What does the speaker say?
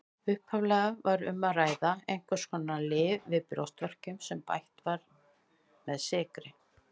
Upphaflega var um að ræða einhvers konar lyf við brjóstverkjum sem bætt var með sykri.